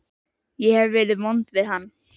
Ég hef verið vond við hann.